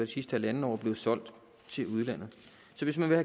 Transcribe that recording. sidste halvandet år bliver solgt til udlandet så hvis man vil